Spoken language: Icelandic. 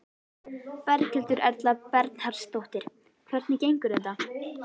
Berghildur Erla Bernharðsdóttir: Hvernig gengur þetta?